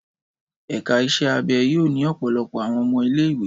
Ẹka iṣẹ abẹ yoo ni ọpọlọpọ awọn ọmọ ile-iwe